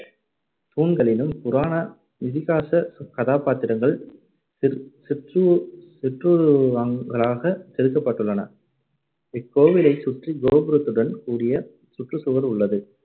தூண்களிலும் புராண இதிகாசக் கதாபாத்திரங்கள் சிற்~ சிற்று~ சிற்றுருவங்களாச் செதுக்கப்பட்டுள்ளன. இக்கோவிலைச் சுற்றி கோபுரத்துடன் கூடிய சுற்றுச் சுவர் உள்ளது